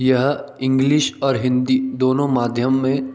यह इंग्लिश और हिन्दी दोनों माध्यम मे--